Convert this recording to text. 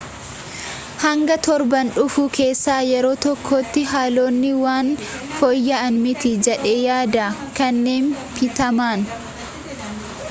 hanga torban dhufu keessaa yeroo tokkootti haalonni waan fooyya'an miti jedhee yaada kenne pitmaan